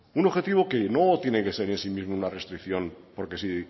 un objetivo que no tiene que ser en sí mismo una restricción porque si